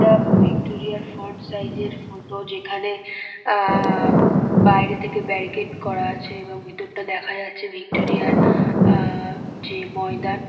Tab Victoria -র front size -এর photo যেখানে আ বাইরে থেকে ব্যারিকেড করা আছে এবং ভিতরটা দেখা যাচ্ছে ভিক্টোরিয়া -র আ যে ময়দান।